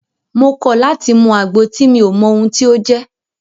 Mo kọ̀ láti mú àgbo tí mi ò mọ ohun tí o jẹ́!